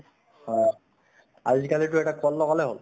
হয় আজি কালিতো এটা call লগালে হʼল।